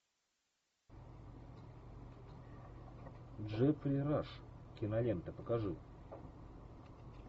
джеффри раш кинолента покажи